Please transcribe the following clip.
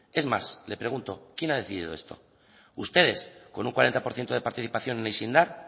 es más le pregunto quién ha decidido esto ustedes con un cuarenta por ciento de participación en haize indar